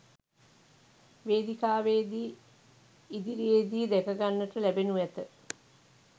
වේදිකාවේදී ඉදිරියේදී දැකගන්නට ලැබෙනු ඇත